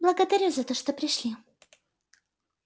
благодарю за то что пришли